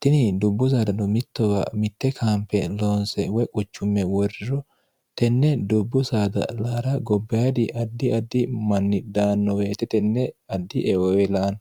tini dubbu saadano mittowa mitte kaamphe loonse woy quchumme woriro tenne dubbu saada laara gobbaadi addi addi manni dhaannoweete tenne addi eoelaanno